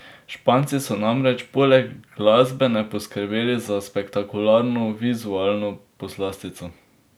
Španci so namreč poleg glasbene poskrbeli za spektakularno vizualno poslastico.